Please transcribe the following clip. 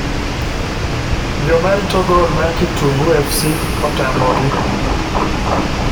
joma rito gol mar Kitungu fc otamo gi.